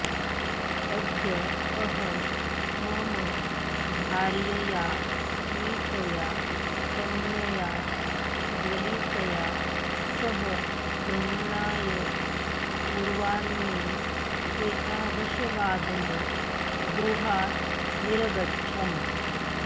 अद्य अहं मम भार्यया मीतया कन्यया ज्वलितया सह भ्रमणाय पूर्वाह्ने एकादशवादने गृहात् निरगच्छम्